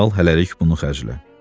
Al hələlik bunu xərclə.